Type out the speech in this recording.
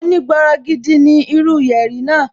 Oní bọrọgidan ní irú yẹ̀rì náà